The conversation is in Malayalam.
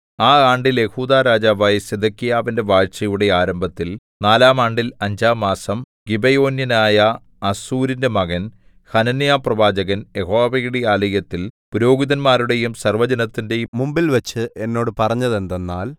ആ ആണ്ടിൽ യെഹൂദാ രാജാവായ സിദെക്കീയാവിന്റെ വാഴ്ചയുടെ ആരംഭത്തിൽ നാലാം ആണ്ടിൽ അഞ്ചാം മാസം ഗിബെയോന്യനായ അസ്സൂരിന്റെ മകൻ ഹനന്യാപ്രവാചകൻ യഹോവയുടെ ആലയത്തിൽ പുരോഹിതന്മാരുടെയും സർവ്വജനത്തിന്റെയും മുമ്പിൽവച്ച് എന്നോട് പറഞ്ഞതെന്തെന്നാൽ